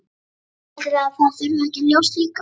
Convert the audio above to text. Haldið þið að það þurfi ekki ljós líka?